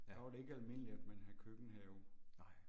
Ja. Nej